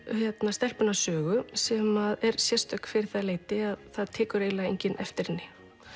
stelpuna Sögu sem er sérstök fyrir það leyti að það tekur eiginlega enginn eftir henni